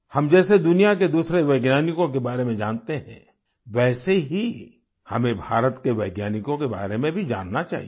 हम जैसे दुनिया के दूसरे वैज्ञानिकों के बारे में जानते हैं वैसे ही हमें भारत के वैज्ञानिकों के बारे में भी जानना चाहिए